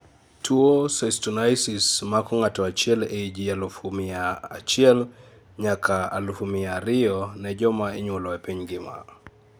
tuo cystonisis mako ng'ato achiel ei ji alufu mia achiel nyaka aufu mia ariyo ne joma inyuolo e piny ngima